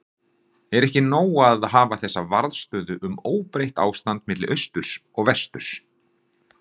Er ekki nóg að hafa þessa varðstöðu um óbreytt ástand milli austurs og vesturs.